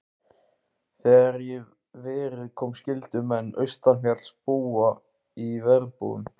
Þegar í verið kom skyldu menn austanfjalls búa í verbúðum.